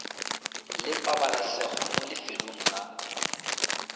le pabalesego mo lefelong la